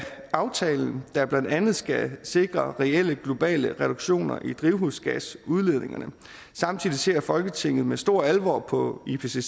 aftalen der blandt andet skal sikre reelle globale reduktioner i drivhusgasudledningerne samtidig ser folketinget med stor alvor på ipcc’s en